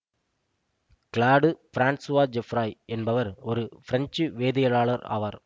glad Francois Geoffroy என்பவர் ஒரு French வேதியியலாளர் ஆவார்